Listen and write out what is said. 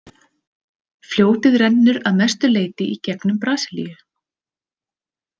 Fljótið rennur að mestu leyti í gegnum Brasilíu.